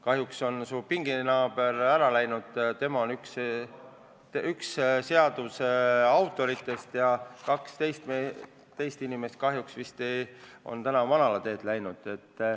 Kahjuks on su pingnaaber ära läinud, tema on üks selle seaduse autoritest, ja kaks teist autorit on kahjuks manalateele läinud.